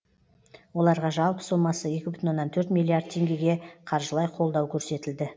оларға жалпы сомасы екі бүтін оннан төрт миллиард теңгеге қаржылай қолдау көрсетілді